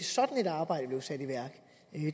sådan et arbejde blev sat i værk